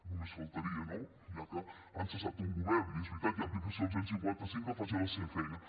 només faltaria no ja que han cessat un govern i és veritat hi ha aplicació del cent i cinquanta cinc que facin la seva feina